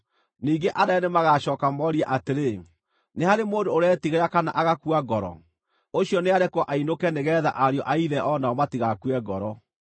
Ningĩ anene nĩmagacooka morie atĩrĩ, “Nĩ harĩ mũndũ ũretigĩra kana agakua ngoro? Ũcio nĩarekwo ainũke nĩgeetha ariũ a ithe o nao matigakue ngoro.”